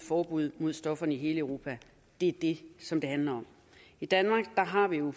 forbud mod stofferne i hele europa er det som det handler om i danmark har vi jo